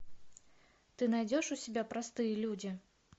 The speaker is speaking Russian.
ты найдешь у себя простые люди